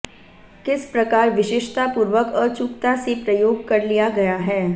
किस प्रकार विशेषतापूर्वक अचूकता से प्रयोग कर लिया गया है